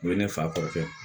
U ye ne fa kɔrɔkɛ